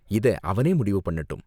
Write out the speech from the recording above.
இத அவனே முடிவு பண்ணட்டும்.